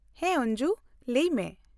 -ᱦᱮᱸ ᱚᱧᱡᱩ! ᱞᱟᱹᱭ ᱢᱮ ᱾